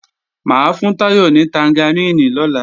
Mà á fún Táyọ̀ ní tangaríìnì lọ́la